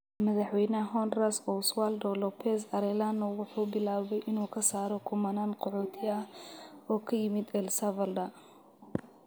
Madaxweynaha Honduras Oswaldo López Arellano wuxuu bilaabay inuu ka saaro kumanaan qaxooti ah oo ka yimid El Salvador.